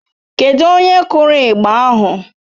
Kedụ onye kụrụ igba ahụ?